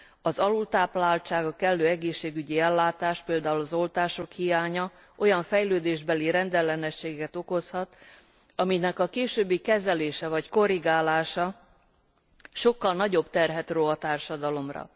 Az alultápláltság, a kellő egészségügyi ellátás például az oltások hiánya olyan fejlődésbeli rendellenességet okozhat, aminek a későbbi kezelése vagy korrigálása sokkal nagyobb terhet ró a társadalomra.